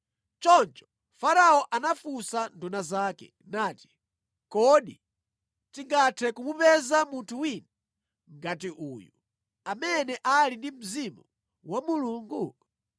Choncho Farao anafunsa nduna zake nati, “Kodi tingathe kumupeza munthu wina ngati uyu, amene ali ndi mzimu wa Mulungu?”